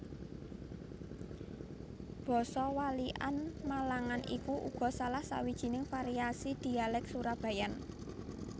Basa Walikan Malangan iku uga salah sawijining variasi Dhialèk Surabayaan